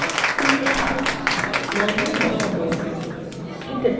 বন্ধনী বন্ধ করুন enter key টিপুন